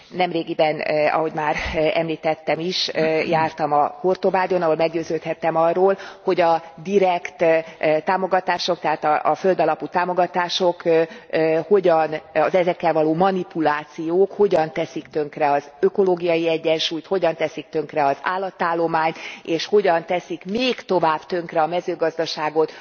Nemrégiben, ahogy már említettem is, jártam a Hortobágyon, ahol meggyőződhettem arról, hogy a direkt támogatások, tehát a földalapú támogatások, az ezekkel való manipulációk hogyan teszik tönkre az ökológiai egyensúlyt, hogyan teszik tönkre az állatállományt, és hogyan teszik még inkább tönkre a mezőgazdaságot